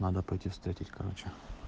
надо пойти встретить короче